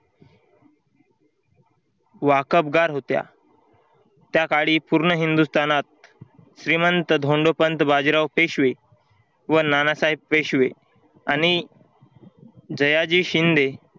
वाकबगार होत्या. त्याकाळी पूर्ण हिंदुस्थानात श्रीमंत धोंडोपंत बाजीराव पेशवे व नानासाहेब पेशवे आणि जयाजी शिंदे